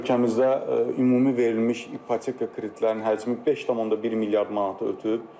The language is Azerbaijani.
Ölkəmizdə ümumi verilmiş ipoteka kreditlərinin həcmi 5.1 milyard manatı ötüb.